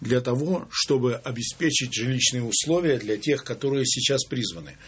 для того чтобы обеспечить жилищные условия для тех которые сейчас призваны